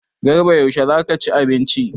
Garba yaushe za ka ci abinci?